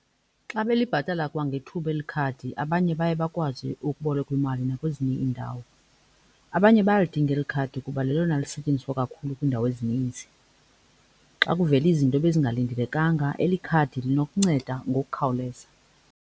Xa belibhatala kwangethuba eli khadi abanye baye bakwazi ukuboleka imali nakwezinye iindawo. Abanye bayalidinga eli khadi kuba lelona lisetyenziswa kakhulu kwiindawo ezininzi. Xa kuvela izinto ebezingalindelekanga eli khadi linokunceda ngokukhawuleza.